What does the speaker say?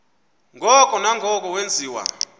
ngoko nangoko wenziwa